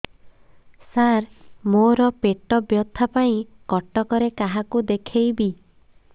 ସାର ମୋ ର ପେଟ ବ୍ୟଥା ପାଇଁ କଟକରେ କାହାକୁ ଦେଖେଇବି